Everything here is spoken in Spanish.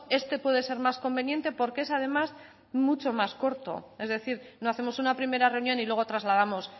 este puede ser más conveniente porque es además mucho más corto es decir no hacemos una primera reunión y luego trasladamos